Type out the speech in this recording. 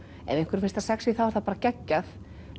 ef einhverjum finnst það sexí þá er það bara geggjað